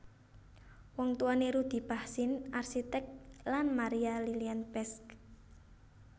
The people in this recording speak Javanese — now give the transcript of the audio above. Wong tuwané Rudy Bachsin arsitek lan Maria Lilian Pesch